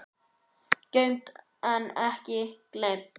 Geymt en ekki gleymt!